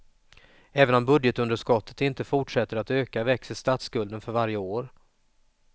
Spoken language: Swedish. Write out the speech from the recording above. Även om budgetunderskottet inte fortsätter att öka växer statsskulden för varje år.